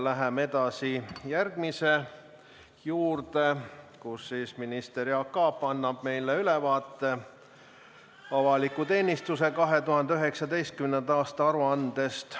Läheme edasi järgmise punkti juurde: minister Jaak Aab annab meile ülevaate avaliku teenistuse 2019. aasta aruandest.